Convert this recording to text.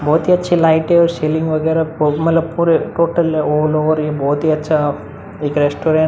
बोहोत ही अच्छा लाइटे और स्लिंग मतलब पूरे टोटल ऑल ओवर ये बोहोत ही अच्छा एक रेस्टोरेंट --